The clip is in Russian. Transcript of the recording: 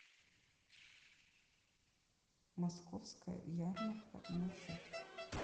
московская ярмарка маршрут